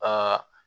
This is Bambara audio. Aa